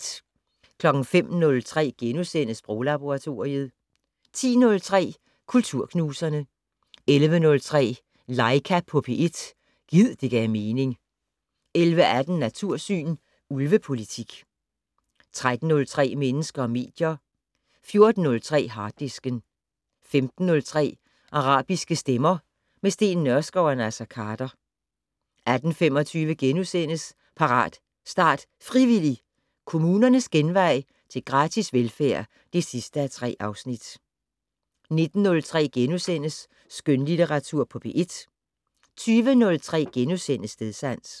05:03: Sproglaboratoriet * 10:03: Kulturknuserne 11:03: Laika på P1 - gid det gav mening 11:18: Natursyn: Ulvepolitik 13:03: Mennesker og medier 14:03: Harddisken 15:03: Arabiske stemmer - med Steen Nørskov og Naser Khader 18:25: Parat, start, frivillig! - Kommunernes genvej til gratis velfærd (3:3)* 19:03: Skønlitteratur på P1 * 20:03: Stedsans *